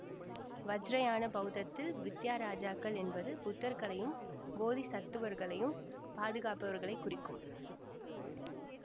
வஜ்ரயான பௌத்தத்தில் வித்யாராஜாக்கள் என்பது புத்தர்களையும் போதிசத்துவர்களையும் பாதுகாப்பவர்களை குறிக்கும்